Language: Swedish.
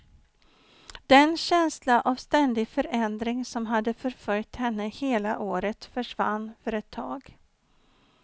Den känsla av ständig förändring som hade förföljt henne hela året försvann för ett tag.